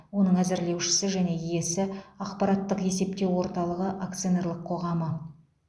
оның әзірлеушісі және иесі ақпараттық есептеу орталығы акционерлік қоғамы